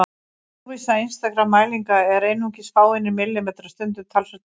Óvissa einstakra mælinga er einungis fáeinir millimetrar, stundum talsvert minni.